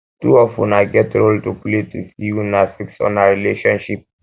two um of una get role to play to see sey una fix una rlationship